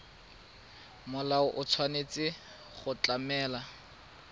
molao o tshwanetse go tlamela